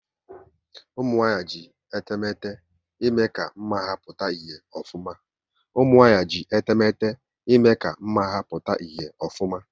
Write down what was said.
Ụmụnwanyị ji etemete ime ka mma ha pụta ìhè ofuma